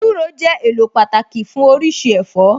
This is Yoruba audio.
Ewúro jẹ́ èlò pàtàkì fún oríṣi ẹ̀fọ́